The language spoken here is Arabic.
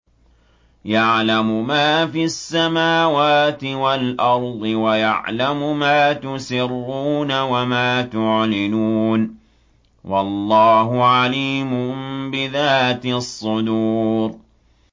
يَعْلَمُ مَا فِي السَّمَاوَاتِ وَالْأَرْضِ وَيَعْلَمُ مَا تُسِرُّونَ وَمَا تُعْلِنُونَ ۚ وَاللَّهُ عَلِيمٌ بِذَاتِ الصُّدُورِ